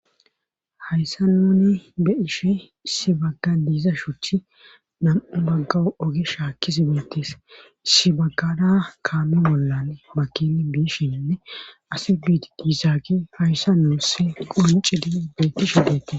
hayssa neni be ishe sibagga diiza shuchi nam7u baggawu oge shaakkisi beetees sibagada kaami bollan bakili biishinne asi biit diisaage hayssa nuusse qoncidi beettishu dettes